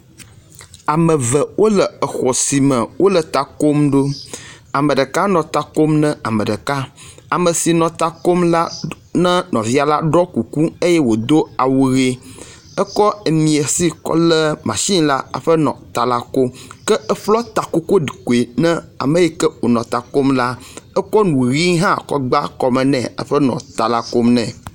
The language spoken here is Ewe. Ame ve wo le exɔ si me wo le ta kom ɖo. Ame ɖeka nɔ ta kom ne ame ɖeka. Ame si nɔ ta kom la ɖ ne nɔvia la ɖɔ kuku eye wodo awu ʋi. ekɔ miasi kɔ le masini la hafi nɔ ta la kom ke eƒlɔ takokoɖukui ne ame yi ke wonɔ ta kom la. Ekɔ nu ʋi hã egba kɔme nɛ hafi nɔ ta la kom nɛ.